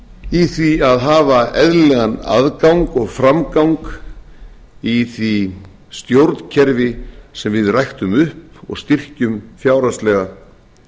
í því að hafa eðlilegan aðgang og framgang í því stjórnkerfi sem við ræktum upp og styrkjum fjárhagslega